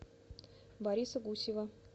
бориса гусева